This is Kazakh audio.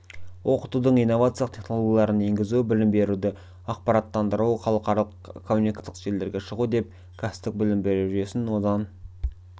оқытудың инновациялық технологияларын енгізу білім беруді ақпараттандыру халықаралық коммуникациялық желілерге шығу деп кәсіптік білім беру жүйесін одан